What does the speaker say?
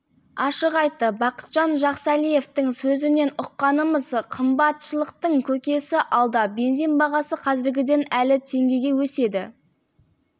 ашық айтты бақытжан жақсәлиевтің сөзінен ұққанымыз қымбатшылықтың көкесі алда бензин бағасы қазіргіден әлі теңгеге өседі